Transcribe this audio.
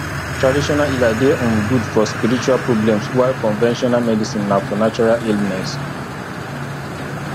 traditional healer de um good for spiritual problems while conventional medicine na for natural illness